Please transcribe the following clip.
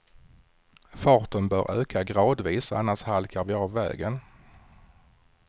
Farten bör öka gradvis, annars halkar vi av vägen.